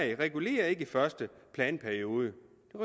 ikke regulerer i første planperiode